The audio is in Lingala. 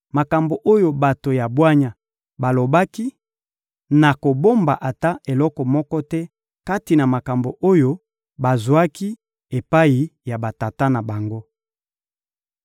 makambo oyo bato ya bwanya balobaki, na kobomba ata eloko moko te kati na makambo oyo bazwaki epai ya batata na bango.